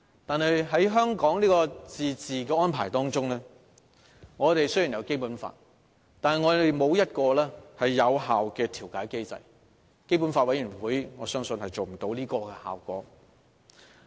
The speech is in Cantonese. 但是，在香港的自治安排中，雖然我們有《基本法》，但沒有一個有效的調解機制，我相信基本法委員會無法做到這個效果。